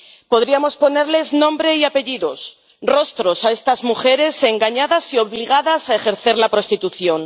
Podríamos ponerles nombre y apellidos, rostros, a estas mujeres engañadas y obligadas a ejercer la prostitución.